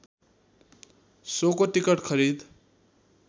शोको ticket खरिद